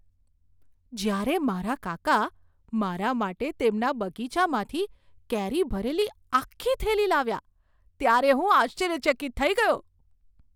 જ્યારે મારા કાકા મારા માટે તેમના બગીચામાંથી કેરી ભરેલી આખી થેલી લાવ્યા ત્યારે હું આશ્ચર્યચકિત થઈ ગયો.